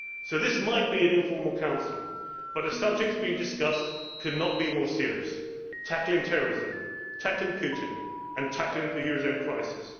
door. So this might be an informal Council but the subjects being discussed could not be more serious tackling terrorism, tackling Putin and tackling the eurozone